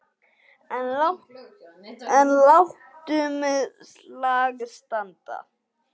En látum slag standa.